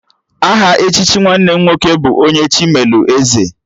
Aha echichi nwanne m nwoke bụ 'Onye Chi melụ Eze'